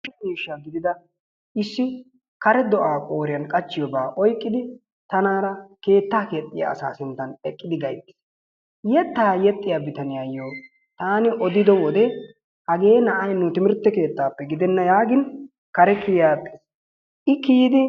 Kushe miishsha gidiida issi kare do"aa qooriyaan qachchiyooba oyqqidi tanaara keettaa keexxiyaa asaa sinttaan eqqidi gayttiis. yeettaa yexxiyaa bitaniyaayoo taani odiido wode hagee na'ay nu timirtte keettaappe gidenna yaagin kare kiyi agiis. I kiiyidi